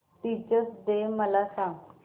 teachers day मला सांग